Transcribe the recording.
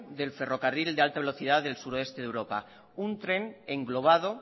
del ferrocarril de alta velocidad del suroeste de europa un tren englobado